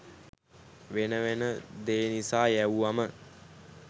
වෙන වෙන දේ නිසා යැව්වම